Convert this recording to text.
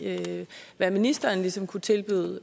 hvad ministeren ligesom kunne tilbyde